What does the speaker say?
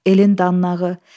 Elin danlağı.